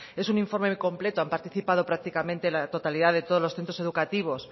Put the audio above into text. es un informe completo han participado practicante la totalidad de todos los centros educativos